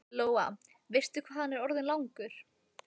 Lóa: Veistu hvað hann er orðinn langur?